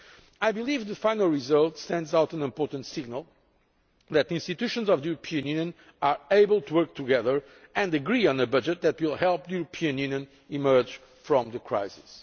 I believe the final result sends out an important signal that the institutions of the European Union are able to work together and agree on a budget that will help the European Union emerge from the crisis.